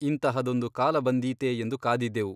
ಇಂತಹದೊಂದು ಕಾಲ ಬಂದೀತೆ ಎಂದು ಕಾದಿದ್ದೆವು.